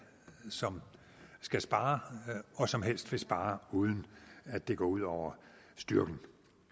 som skal spare og som helst vil spare uden at det går ud over styrken